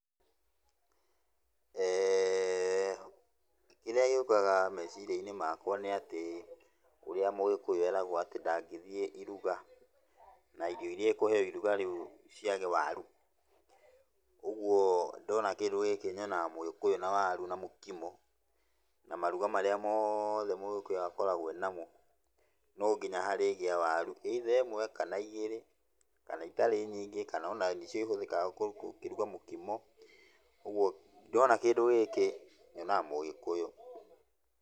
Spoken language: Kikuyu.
Kĩrĩa gĩũkaga meciria-inĩ makwa nĩatĩ ũrĩa mũgĩkũyũ eragũo atĩ ndangĩthiĩ iruga, na irio iria ekũheo iruga rĩu ciage waru. Ũguo ndona kĩndũ gĩkĩ nyonaga mũgĩkũyũ na waru na mũkimo, na maruga marĩa moothe mũgĩkũyũ akoragwo enamo, no nginya harĩgĩa waru either ĩmwe, kana igĩrĩ, kana itarĩ nyingĩ, kana onanĩcio ihũthĩkaga gũkĩruga mũkimo, ũguo ndona kĩndũ gĩkĩ nyonaga mũgĩkũyũ.